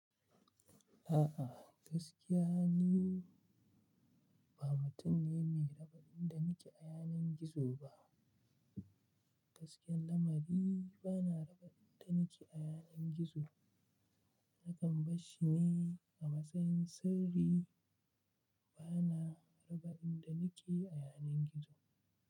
A'a, gaskiya ne ba mutum ne mai raba inda nike a yanin gizo ba. Gaskiyar lamari bana raba inda nike a yanin gizo. Nakan bashi ne a matsayin sirri bana raba inda nike a yanin gizo.